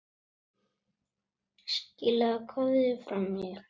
Skilaðu kveðju frá mér.